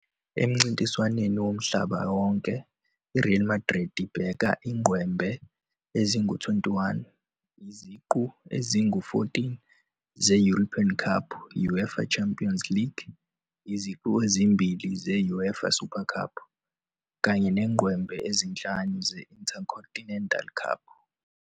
Emincintiswaneni yomhlaba wonke, i-Real Madrid ibheka ingqwembe ezingu-21, iziqu ezingu-14 ze-European Cup, UEFA Champions League, iziqu ezimbili ze-UEFA Super Cup, kanye nengqwembe ezinhlanu ze-Intercontinental Cup.